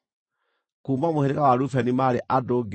Kuuma mũhĩrĩga wa Rubeni maarĩ andũ 46,500.